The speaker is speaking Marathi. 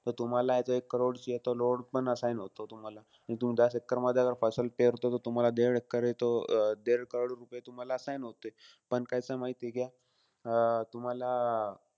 त तुम्हालाय तो एक करोडची पण loan पण assign होतो तुम्हाला. त तुम्ही दस एक्करमध्ये जर पेरतोय त तुम्हाला देड एक्कर आहे तो, देड करोड रुपये तुम्हाला assign होते. पण कसंय माहितीय का अं तुम्हाला?